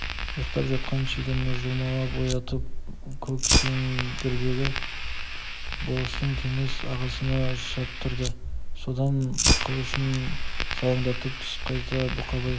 ұйықтап жатқан шегені жұлмалап оятып көксеңгірдегі болыстың кеңес ағасына шаптырды содан қылышын салаңдатып түс қайта бұқабай